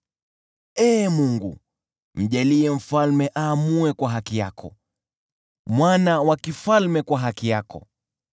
Ee Mungu, mjalie mfalme aamue kwa haki yako, mwana wa mfalme kwa haki yako.